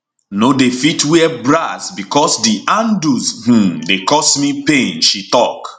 no dey fit wear bras bicos di handles um dey cause me pain she tok